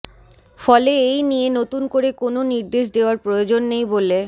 ফলে এই নিয়ে নতুন করে কোনও নির্দেশ দেওয়ার প্রয়োজন নেই বলে